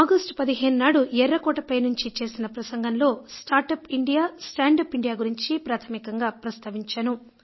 నేను ఆగస్టు 15 నాడు ఎర్రకోటపై నుంచి చేసిన ప్రసంగంలో start up India stand up India గురించి ప్రాథమికంగా ప్రస్తావించాను